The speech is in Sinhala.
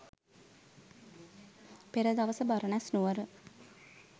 පෙර දවස බරණැස් නුවර